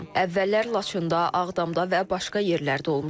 Əvvəllər Laçında, Ağdamda və başqa yerlərdə olmuşam.